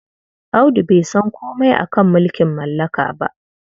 Audu bai san komai a ka mulking mallaka ba.